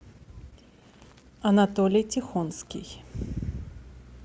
анатолий тихонский